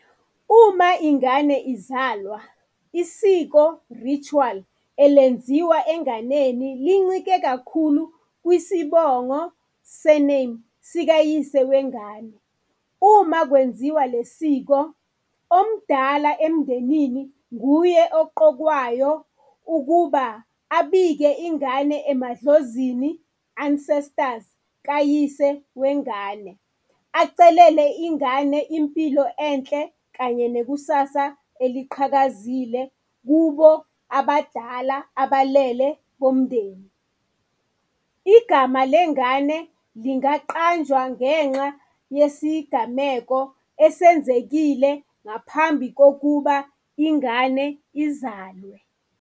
Uma ingane izalwa, isiko ritual, elenziwa enganeni lincike kakhulu kwisibongo, surname, sikayise wengane. Uma kwenziwa le siko omdala emndenini nguye oqokwayo ukuba abike ingane emadlozini, ancestors kayise wengane. Acelele ingane impilo enhle kanye nekusasa eliqhakazile kubo abadala abalele bomndeni. Igama lengane lingaqanjwa ngenxa yesigameko esenzekile ngaphambi kokuba ingane izalwe.